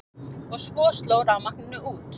Og svo sló rafmagninu út.